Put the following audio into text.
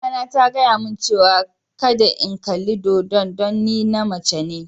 Mama na ta gaya mun cewa kadda n'kalli dodo'n dan ni na mace ne.